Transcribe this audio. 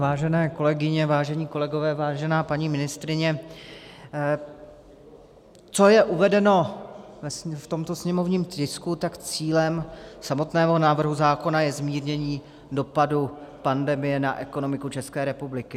Vážené kolegyně, vážení kolegové, vážená paní ministryně, co je uvedeno v tomto sněmovním tisku, tak cílem samotného návrhu zákona je zmírnění dopadů pandemie na ekonomiku České republiky.